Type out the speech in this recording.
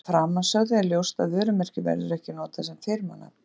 Af framansögðu er ljóst að vörumerki verður ekki notað sem firmanafn.